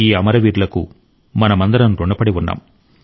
ఈ అమరవీరులకు మనమందరం రుణపడి ఉన్నాం